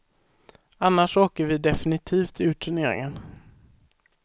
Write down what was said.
Annars åker vi definitivt ur turneringen.